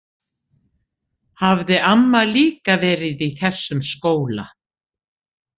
Hafði amma líka verið í þessum skóla?